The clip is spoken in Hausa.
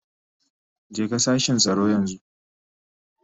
Jeka sashin tsaro yanzu.